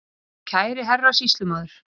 Kæri herra Sýslumaður.